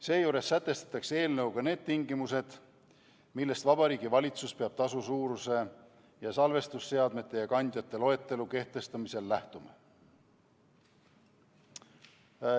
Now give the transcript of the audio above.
Seejuures sätestatakse eelnõuga tingimused, millest Vabariigi Valitsus peab tasu suuruse ning salvestusseadmete ja ‑kandjate loetelu kehtestamisel lähtuma.